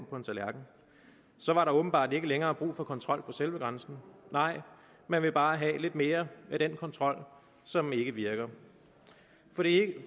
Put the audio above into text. på en tallerken så var der åbenbart ikke længere brug for kontrol på selve grænsen nej man vil bare have lidt mere af den kontrol som ikke virker